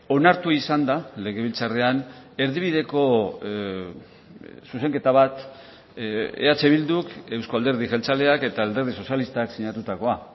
onartu izan da legebiltzarrean erdibideko zuzenketa bat eh bilduk euzko alderdi jeltzaleak eta alderdi sozialistak sinatutakoa